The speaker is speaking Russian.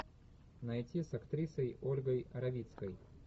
найти с актрисой ольгой равицкой